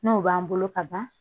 N'o b'an bolo ka ban